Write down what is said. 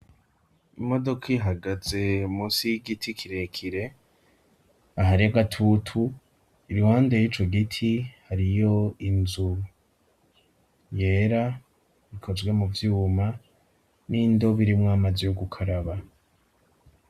Imodoka ihagaze musi y'igiti kirekire, ahari agatutu, iruhande y'ico giti hariyo inzu yera ikozwe mu vyuma, n'indobo irimwo amazi yo gukaraba.